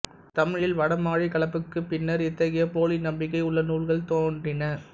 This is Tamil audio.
தமிழில் வடமாழி கலப்புக்குப் பின்னர் இத்தகைய போலி நம்பிக்கை உள்ள நூல்கள் நோன்றின